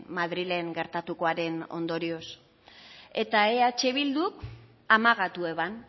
madrilen gertatukoaren ondorioz eta eh bilduk amagatu eban